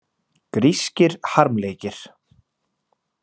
Grískir harmleikir.